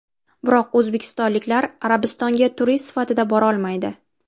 Biroq o‘zbekistonliklar Arabistonga turist sifatida borolmaydi.